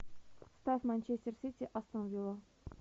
поставь манчестер сити астон вилла